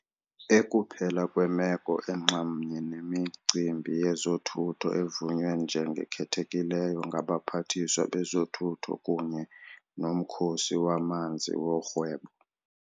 Ekuphela kwemeko enxamnye nemicimbi yezothutho evunywa njengekhethekileyo ngabaPhathiswa bezoThutho kunye noMkhosi waManzi woRhwebo.